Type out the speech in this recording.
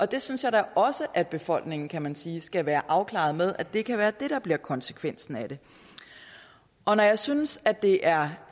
det synes jeg da også at befolkningen kan man sige skal være afklaret med at det kan være det der bliver konsekvensen af det når jeg synes at det er